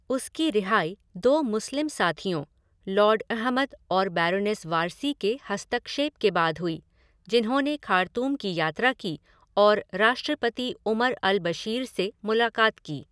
उसकी रिहाई दो मुस्लिम साथियों, लॉर्ड अहमद और बैरोनेस वारसी के हस्तक्षेप के बाद हुई जिन्होंने खार्तूम की यात्रा की और राष्ट्रपति उमर अल बशीर से मुलाकात की।